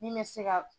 Min bɛ se ka